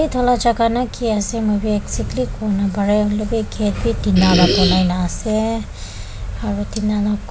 itu la jagha na ki ase mui bi exactly kuwo napareh hoilebi gate wi tina la banai na ase aro tina la--